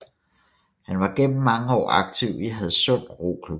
Han har gennem mange år aktiv i Hadsund Roklub